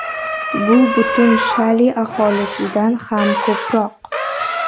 Bu butun Shali aholisidan ham ko‘proq.